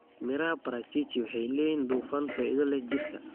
Midhaha parachichi waxay leeyihiin dufan faa'iido leh jirka.